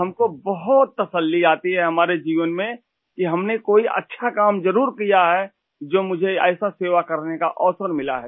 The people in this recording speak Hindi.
हमको बहुत तसल्ली आती है हमारे जीवन में कि हमने कोई अच्छा काम ज़रुर किया है जो मुझे ऐसा सेवा करने का अवसर मिला है